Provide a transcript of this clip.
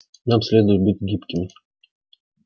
нам следует быть гибкими